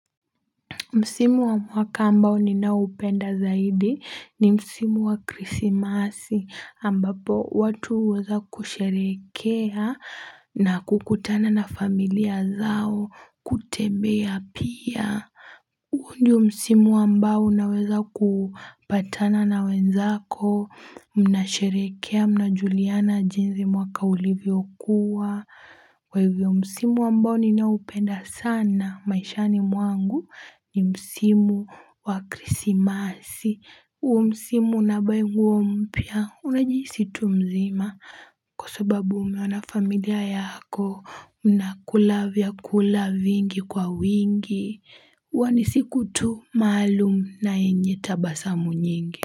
Msimu wa mwaka ambao ninaupenda zaidi ni msimu wa Krismasi ambapo watu huweza kusherehekea na kukutana na familia zao kutembea pia. Huu ndio msimu ambao unaweza kupatana na wenzako, mnasherehekea, unajuliana jinsi mwaka ulivyokuwa. Kwa hivyo msimu ambao ninaupenda sana, maishani mwangu ni msimu wakrismasi. Huo msimu unabai nguo mpya, unajihisi tu mzima. Kwasababu umeona familia yako, unakula vyakula vingi kwa wingi. Huwa ni siku tu maalum na yenye tabasamu nyingi.